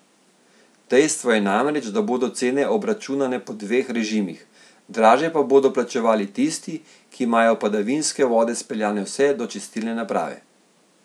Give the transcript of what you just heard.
Dejstvo je namreč, da bodo cene obračunane po dveh režimih, dražje pa bodo plačevali tisti, ki imajo padavinske vode speljane vse do čistilne naprave.